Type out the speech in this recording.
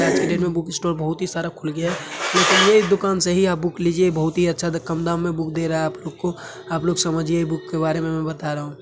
आज की डेट में बुक स्टोर बहुत ही सारा खुल गया है लेकिन ये एक दुकान सही है आप बुक लीजिये ये बहुत ही अच्छा कम दाम में बुक दे रहा है आप लोग को आप लोग समझिए बुक के बारे में मै बता रहा हूँ।